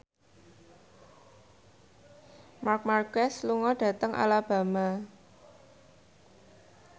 Marc Marquez lunga dhateng Alabama